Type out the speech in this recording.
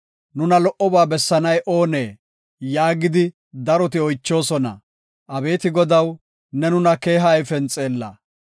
“Nuna lo77oba bessanay oonee?” yaagidi daroti oychoosona; Abeeti Godaw, ne nuna keeha ayfen xeella.